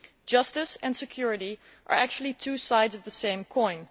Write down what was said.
Justice and security are actually two sides of the same coin.